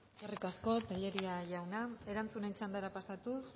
eskerrik asko tellería jauna erantzunen txandara pasatuz